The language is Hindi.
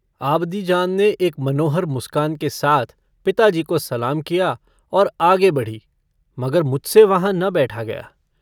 आबदीजान ने एक मनोहर मुसकान के साथ पिताजी को सलाम किया और आगे बढ़ी मगर मुझसे वहाँ न बैठा गया।